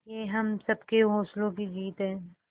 ये हम सबके हौसलों की जीत है